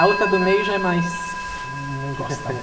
A outra do meio já é mais... Não gosto da